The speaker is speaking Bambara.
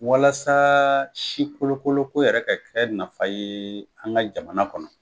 Walasa si kolokolo ko yɛrɛ ka kɛ nafa ye an ka jamana kɔnɔ.